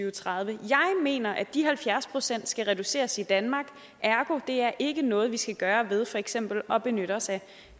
og tredive jeg mener at de halvfjerds procent skal reduceres i danmark og ergo er det ikke noget vi skal gøre ved for eksempel at benytte os af